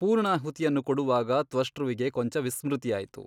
ಪೂರ್ಣಾಹುತಿಯನ್ನು ಕೊಡುವಾಗ ತ್ವಷ್ಟೃವಿಗೆ ಕೊಂಚ ವಿಸ್ಮೃತಿಯಾಯಿತು.